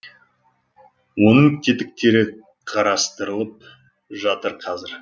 оның тетіктері қарастырылып жатыр қазір